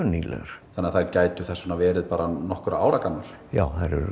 nýlegar þannig að þær gætu þess vegna verið nokkurra ára gamlar já þær eru